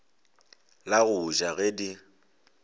la go ja ge di